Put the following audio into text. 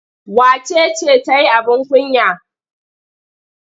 Wace ce ta yi abin kunya?